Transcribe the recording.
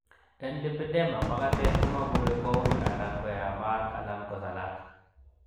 En lipedema, makatet komobure koui, alan koyamat alan kosalat.